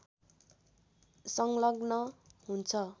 संलग्न हुन्छ